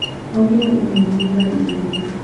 Augire ũmumĩrie harĩa igũrũ.